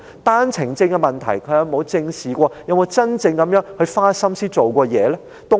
單程證問題，他有否正視過及真正花心思做過甚麼呢？